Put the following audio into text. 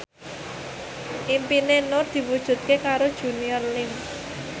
impine Nur diwujudke karo Junior Liem